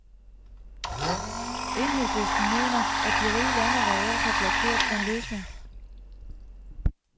Enhedslisten mener, at de rige lande reelt har blokeret for en løsning.